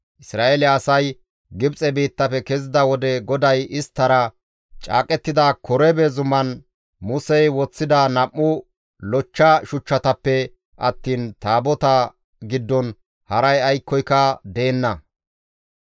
Isra7eele asay Gibxe biittafe kezida wode GODAY isttara caaqettida Korebe zuman Musey woththida nam7u lochcha shuchchatappe attiin Taabotaa giddon haray aykkoyka deenna.